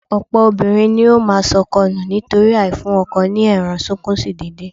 Ọ̀pọ̀ obìnrin ní ó máa sọkọ nù nítorí àìfún ọkọ ní ẹran-sunkúnsí déédéé